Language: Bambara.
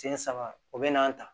Sen saba o bɛn'an ta